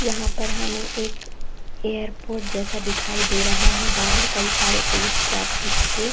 यहाँ पर हमे एक एयरपोर्ट जैसा दिखाई दे रहा है। बाहर कई सारे पुलिस ट्रैफिक के--